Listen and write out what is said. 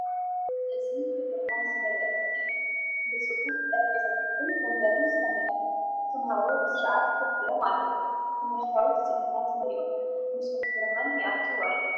እዚ ብብርሃን ዝመልአ ክፍሊ እዩ፡ ብጽፉፍ ጠረጴዛታትን መንበርን ዝተመልአ። ተማሃሮ ብስርዓት ኮፍ ኢሎም ኣለው። ትምህርታዊ ትጽቢታት መሊኦም፣ መስኮት ብርሃን ይኣትወ ኣሎ።